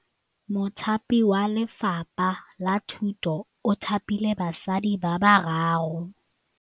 Mothapi wa Lefapha la Thutô o thapile basadi ba ba raro.